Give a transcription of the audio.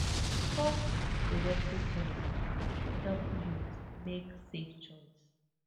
talk di reproductive health help youth make safe choice